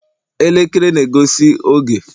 elekere na-egosi oge